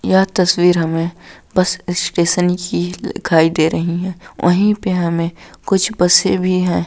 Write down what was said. यह तस्वीर हमें बस स्टेशन की दिखाई दे रही है वही पे हमें कुछ बसे भी है।